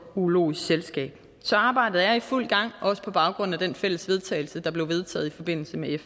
urologisk selskab så arbejdet er i fuld gang også på baggrund af det fælles vedtagelse der blev vedtaget i forbindelse med